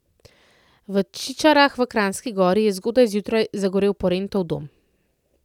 V Čičarah v Kranjski Gori je zgodaj zjutraj zagorel Porentov Dom.